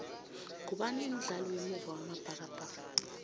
ngubani umdlali wemuva wamabhakabhaka